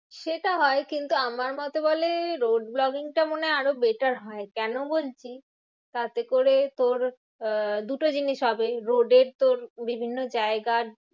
সেটা হয় কিন্তু আমার মতে বলে road vlogging টা মনে হয় আরও better হয়। কেন বলছি? তাতে করে তোর আহ দুটো জিনিস হবে road এর তোর বিভিন্ন জায়গার